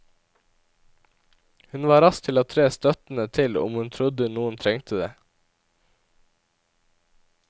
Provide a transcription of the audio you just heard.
Hun var rask til å tre støttende til om hun trodde noen trengte det.